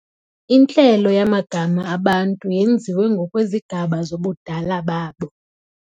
Intlelo yamagama abantu yenziwe ngokwezigaba zobudala babo.